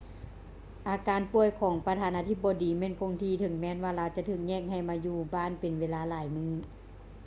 ອາການປ່ວຍຂອງປະທານາທິບໍດີແມ່ນຄົງທີ່ ເຖິງແມ່ນວ່າລາວຈະຖືກແຍກໃຫ້ມາຢູ່ບ້ານເປັນເວລາຫຼາຍມື້